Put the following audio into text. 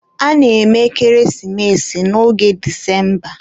a na-eme ekeresimesi n'oge Disemba.